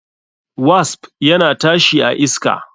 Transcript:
Wasp yana tashi a iska.